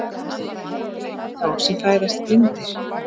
Hvað dreymir þá sem fæðast blindir?